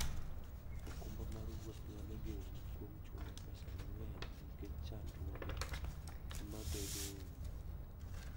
okumba mar wuoth nyalo geng'i kuom chulo pesa mang'eny nikech chandruoge mabedoe e wuoth.